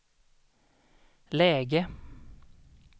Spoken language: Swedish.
läge